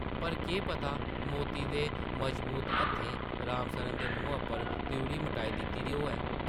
पर केह् पता मौती दे मजबूत हत्थें राम सरना दे मुहां परा त्रिउढ़ी मटाई दित्ती दी होऐ ।